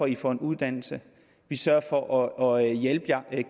de får en uddannelse vi sørger for at